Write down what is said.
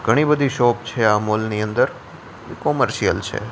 ઘણી બધી શોપ છે આ મોલ ની અંદર કોમર્શિઅલ છે.